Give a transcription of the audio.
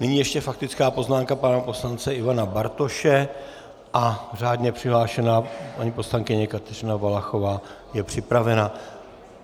Nyní ještě faktická poznámka pana poslance Ivana Bartoše a řádně přihlášená paní poslankyně Kateřina Valachová je připravena.